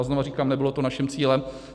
A znovu říkám, nebylo to naším cílem.